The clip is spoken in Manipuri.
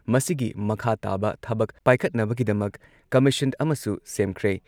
ꯃꯁꯤꯒꯤ ꯃꯈꯥ ꯇꯥꯕ ꯊꯕꯛ ꯄꯥꯏꯈꯠꯅꯕꯒꯤꯗꯃꯛ ꯀꯝꯃꯤꯁꯟ ꯑꯃꯁꯨ ꯁꯦꯝꯈ꯭ꯔꯦ ꯫